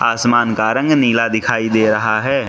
आसमान का रंग नीला दिखाई दे रहा है।